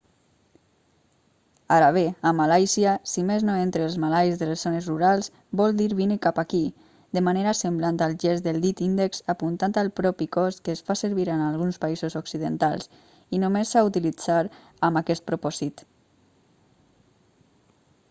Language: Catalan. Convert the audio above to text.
ara bé a malàisia si més no entre els malais de les zones rurals vol dir vine cap aquí de manera semblant al gest del dit índex apuntant al propi cos que es fa servir en alguns països occidentals i només s'ha d'utilitzar amb aquest propòsit